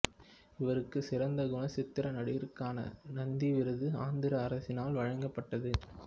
இவருக்கு சிறந்த குணச்சித்திர நடிகருக்கான நந்தி விருது ஆந்திர அரசினால் வழங்கப்பட்டது